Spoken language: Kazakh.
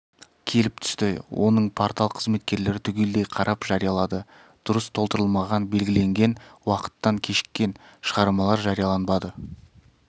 келіп түсті оның портал қызметкерлері түгелдей қарап жариялады дұрыс толтырылмаған белгіленген уақытынан кешіккен шығармалар жарияланбады